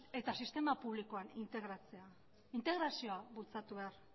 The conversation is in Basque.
eta sistema publikoan integratzea integrazioa bultzatu behar